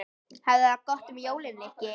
Hafðu það gott um jólin, Nikki